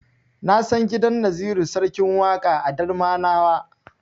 Na san gidan Naziru Sarkin Waƙa a Darmanawa.